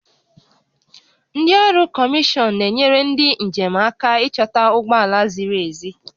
Ndị ọrụ kọmishọn na-enyere ndị njem aka ịchọta ụgbọ ala ziri ezi